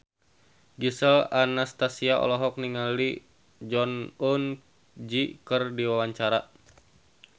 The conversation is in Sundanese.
Gisel Anastasia olohok ningali Jong Eun Ji keur diwawancara